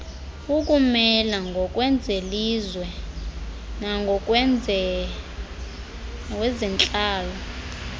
ukumela ngokwezelizwe nangokwezentlalo